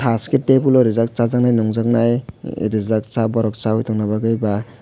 taske tebil o reejak chajaknai nunjaknai reejak cha borok chawai tangjani baa.